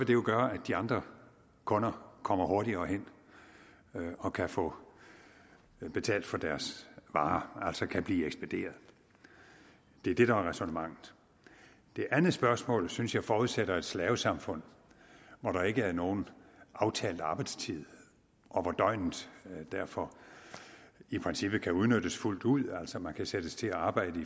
jo gøre at de andre kunder kommer hurtigere hen og kan få betalt for deres varer altså kan blive ekspederet det er det der er ræsonnementet det andet spørgsmål synes jeg forudsætter et slavesamfund hvor der ikke er nogen aftalt arbejdstid og hvor døgnet derfor i princippet kan udnyttes fuldt ud altså man kan sættes til at arbejde